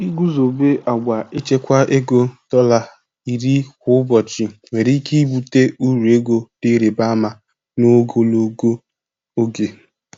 Iguzobe agwa ichekwa ego dọla iri kwa ụbọchị nwere ike ibute uru ego dị ịrịba ama n'ogologo oge.